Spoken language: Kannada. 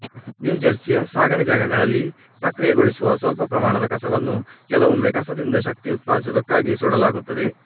ನ್ಯೂಜೆರ್ಸಿಯ ಸಾಗಣೆ ಜಾಗಗಳಲ್ಲಿ ಪ್ರಕ್ರಿಯೆಗೊಳಿಸುವ ಸ್ವಲ್ಪ ಪ್ರಮಾಣದ ಕಸವನ್ನು ಕೆಲವೊಮ್ಮೆ ಕಸದಿಂದಶಕ್ತಿ ಉತ್ಪಾದಿಸುವುದಕ್ಕಾಗಿ ಸುಡಲಾಗುತ್ತದೆ